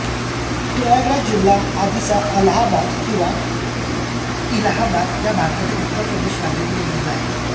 प्रयागराज जिल्हा आधीचा अलाहाबाद जिल्हा किंवा इलाहाबाद हा भारताच्या उत्तर प्रदेश राज्यातील एक जिल्हा आहे